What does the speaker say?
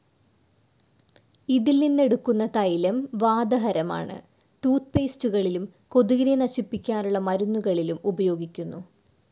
ഇതിൽ നിന്നെടുക്കുന്ന തൈലം വാതഹരമാണ്. ടൂത്ത്പേസ്റ്റുകളിലും കൊതുകിനെ നശിപ്പിക്കാനുള്ള മരുന്നുകളിലും ഉപയോഗിക്കുന്നു.